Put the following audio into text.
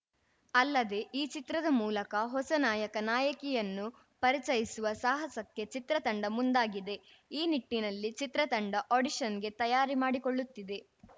ಅಲ್ಲದೆ ಈ ಚಿತ್ರದ ಮೂಲಕ ಹೊಸ ನಾಯಕ ನಾಯಕಿಯನ್ನು ಪರಿಚಯಿಸುವ ಸಾಹಸಕ್ಕೆ ಚಿತ್ರತಂಡ ಮುಂದಾಗಿದೆ ಈ ನಿಟ್ಟಿನಲ್ಲಿ ಚಿತ್ರಂಡ ಆಡಿಷನ್‌ಗೆ ತಯಾರಿ ಮಾಡಿಕೊಳ್ಳುತ್ತಿದೆ